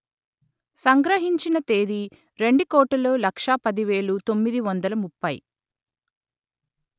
సంగ్రహించిన తేదీ రెండు కోటులు లక్ష పది వేలు తొమ్మిది వందలు ముప్పై